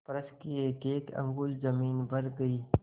फर्श की एकएक अंगुल जमीन भर गयी